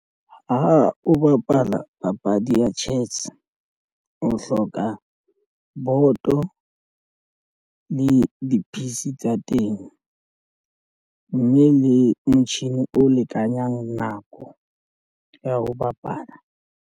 Ha o bapala papadi ya chess o hloka boto le di-piece tsa teng mme le motjhini o lekanyang nako ya ho bapala.